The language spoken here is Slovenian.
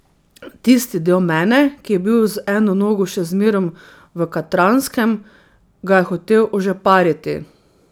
Tisti del mene, ki je bil z eno nogo še zmerom v Katranskem, ga je hotel ožepariti.